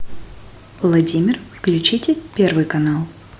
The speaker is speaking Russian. владимир включите первый канал